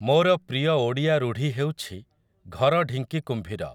ମୋର ପ୍ରିୟ ଓଡ଼ିଆ ରୂଢ଼ି ହେଉଛି ଘର ଢିଙ୍କି କୁମ୍ଭୀର ।